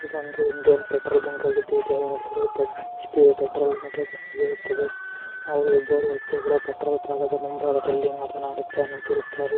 ಇದೊಂದು petrol bunk ಆಗಿದೆ. ಇದರ ಹೆಸರು ಹೆಚ್ ಪಿ ಪೆಟ್ರೋಲ್ ಲಿಮಿಟೆಡ್ ಇರುತ್ತದೆ ಹಾಗು ಇದ್ದರು ವ್ಯಕ್ತಿಗಳು ಪೆಟ್ರೋಲ್ ಭಾಗದ ಮುಂಭಾಗ ದಲ್ಲಿ ಮಾತನಾಡುತ್ತಾ ನಿಂತಿರುತ್ತಾರೆ.